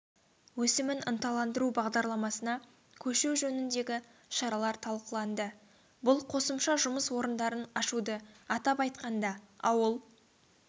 өсімін ынталандыру бағдарламасына көшу жөніндегі шаралар талқыланды бұл қосымша жұмыс орындарын ашуды атап айтқанда ауыл